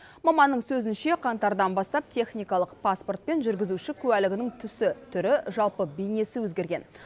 маманның сөзінше қаңтардан бастап техникалық паспорт пен жүргізуші куәлігінің түсі түрі жалпы бейнесі өзгерген